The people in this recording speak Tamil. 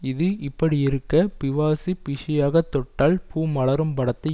இது இப்படியிருக்க பி வாசு பிஸியாக தொட்டால் பூ மலரும் படத்தை